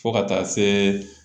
Fo ka taa se